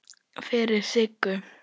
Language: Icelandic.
Fyrir Siggu.